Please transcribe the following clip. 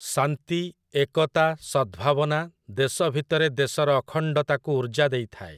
ଶାନ୍ତି, ଏକତା, ସଦଭାବନା, ଦେଶ ଭିତରେ ଦେଶର ଅଖଣ୍ଡତାକୁ ଉର୍ଜ୍ଜା ଦେଇଥାଏ ।